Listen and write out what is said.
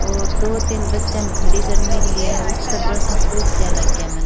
और दो तीन बच्चा न खड़ी कर मिली है उतर पर्सन पूछ रा मन।